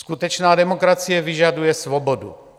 Skutečná demokracie vyžaduje svobodu.